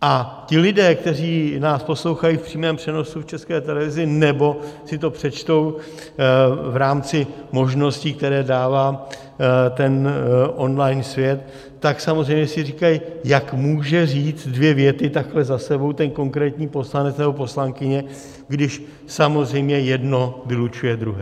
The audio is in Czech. A ti lidé, kteří nás poslouchají v přímém přenosu v České televizi nebo si to přečtou v rámci možností, které dává ten online svět, tak samozřejmě si říkají, jak může říct dvě věty takhle za sebou ten konkrétní poslanec nebo poslankyně, když samozřejmě jedno vylučuje druhé.